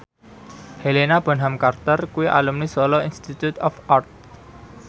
Helena Bonham Carter kuwi alumni Solo Institute of Art